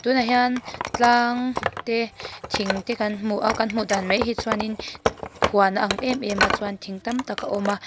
tunah hian tlang te thing te kan hmu a kan hmu dan mai hi chuan in huan a ang em em a chuan thing tam tak a awm a.